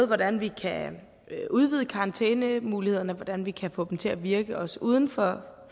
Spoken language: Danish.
hvordan vi kan udvide karantænemulighederne og hvordan vi kan få dem til at virke også uden for